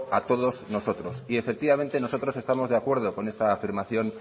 a todos nosotros y efectivamente nosotros estamos de acuerdo con esta afirmación